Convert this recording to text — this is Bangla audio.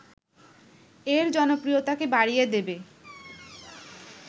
এর জনপ্রিয়তাকে বাড়িয়ে দেবে